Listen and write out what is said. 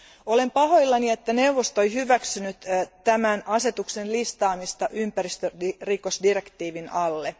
Olen pahoillani siitä, että neuvosto ei hyväksynyt tämän asetuksen listaamista ympäristörikosdirektiivin alle.